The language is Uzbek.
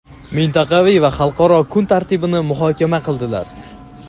mintaqaviy va xalqaro kun tartibini muhokama qildilar.